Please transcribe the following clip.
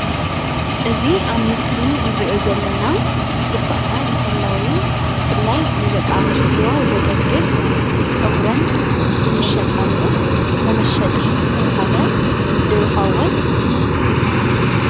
እዚ አብ ምስሊ እነሪኦ ዘለና ፅባቐ መሐለዊ ብፍላይ ንደቂ አንስትዮ ዘገልግል ፀጉረን ዝምሸጣሉ መመሸጢ ዝተባህለ ዶ ይኸውን?